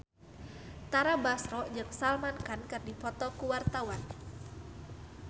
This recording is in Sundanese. Tara Basro jeung Salman Khan keur dipoto ku wartawan